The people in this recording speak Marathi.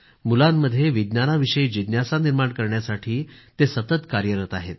मुलांमध्ये विज्ञानाविषयी जिज्ञासा निर्माण करण्यासाठी ते सतत कार्यरत आहेत